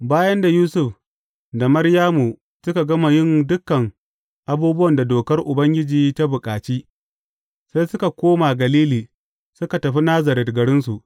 Bayan da Yusuf da Maryamu suka gama yin dukan abubuwan da Dokar Ubangiji ta bukaci, sai suka koma Galili suka tafi Nazaret garinsu.